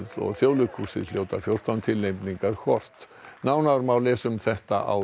og Þjóðleikhúsinu hljóta fjórtán tilnefningar hvor nánar má lesa um þetta á